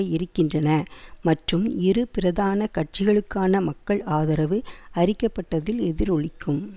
இருக்கின்றன மற்றும் இரு பிரதான கட்சிகளுக்கான மக்கள் ஆதரவு அரிக்கப்பட்டதில் எதிரொலிக்கும்